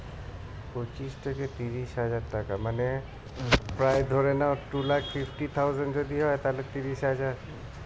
পঁচিশ থেকে তিরিশ হাজার টাকা মানে প্রায় ধরে নাও two lakh fifty thousand যদি হয়ে তাহলে তিরিশ হাজার